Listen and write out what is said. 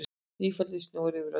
Nýfallinn snjór yfir öllu.